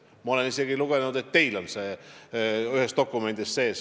Ja ma olen lugenud, et teilgi on see ühes dokumendis sees.